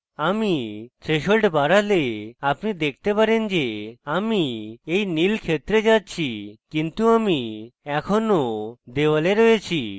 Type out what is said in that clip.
আমি threshold বাড়ালে আপনি দেখতে পারেন যে আমি when নীল ক্ষেত্রে যাচ্ছি কিন্তু আমি এখনও দেয়ালে রয়েছি